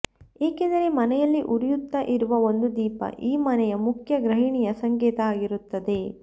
ಏಕೆಂದರೆ ಮನೆಯಲ್ಲಿ ಉರಿಯುತ್ತ ಇರುವ ಒಂದು ದೀಪ ಈ ಮನೆಯ ಮುಖ್ಯ ಗೃಹಿಣಿಯ ಸಂಕೇತ ಆಗಿರುತ್ತದೆ